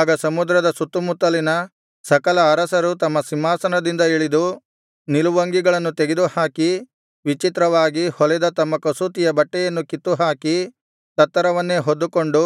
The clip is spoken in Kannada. ಆಗ ಸಮುದ್ರದ ಸುತ್ತುಮುತ್ತಲಿನ ಸಕಲ ಅರಸರು ತಮ್ಮ ಸಿಂಹಾಸನದಿಂದ ಇಳಿದು ನಿಲುವಂಗಿಗಳನ್ನು ತೆಗೆದುಹಾಕಿ ವಿಚಿತ್ರವಾಗಿ ಹೊಲೆದ ತಮ್ಮ ಕಸೂತಿಯ ಬಟ್ಟೆಯನ್ನು ಕಿತ್ತುಹಾಕಿ ತತ್ತರವನ್ನೇ ಹೊದ್ದುಕೊಂಡು